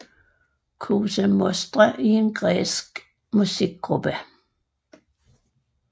Koza Mostra er en græsk musikgruppe